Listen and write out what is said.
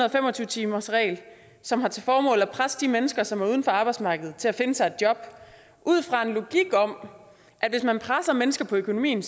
og fem og tyve timersregel som har til formål at presse de mennesker som er uden for arbejdsmarkedet til at finde sig et job ud fra en logik om at hvis man presser mennesker på økonomien